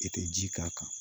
I tɛ ji k'a kan